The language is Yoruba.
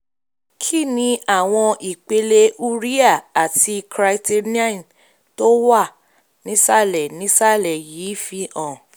kí ni àwọn ipele um urea àti creatinine tó wà um nísàlẹ̀ nísàlẹ̀ yìí fihàn?